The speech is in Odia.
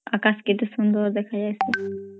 ଅକାଶ୍ କେତେ ସୁନ୍ଦର୍ ଦେଖାଯାଏ